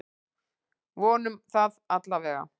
Vonum það allavega!